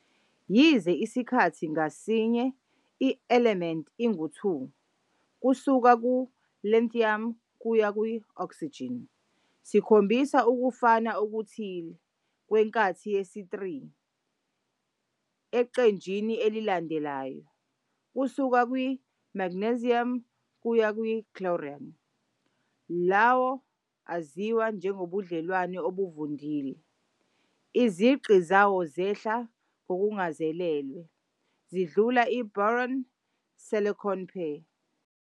Yize isikhathi ngasinye i-elementi engu-2 kusuka ku-lithium kuya ku-oxygen sikhombisa ukufana okuthile kwenkathi yesi-3 eqenjini elilandelayo, kusuka ku-magnesium kuya ku-chlorine, lawa aziwa njengobudlelwano obuvundlile, iziqu zawo zehla ngokungazelelwe zidlula i-boron - silicon pair.